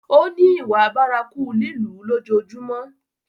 Ó ní ìwà bárakú lílù ú lójoojúmọ́.